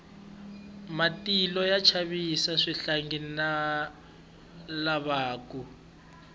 matilo ya chavisa swihlangi na lavakulu